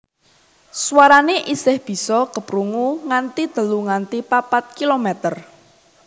Swarané isih bisa keprungu nganti telu nganti papat kilometer